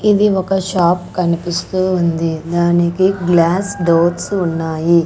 ఇది ఒక షాప్ కనిపిస్తూ ఉంది దానికి గ్లాస్ డోర్స్ ఉన్నాయి.